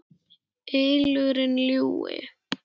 ylurinn ljúfi.